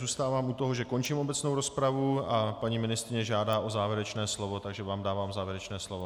Zůstávám u toho, že končím obecnou rozpravu a paní ministryně žádá o závěrečné slovo, takže vám dávám závěrečné slovo.